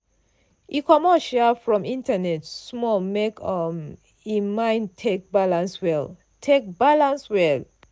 e comot um from internet small make um im mind take balance well. take balance well.